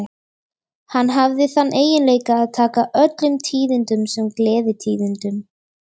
Hann hafði þann eiginleika að taka öllum tíðindum sem gleðitíðindum.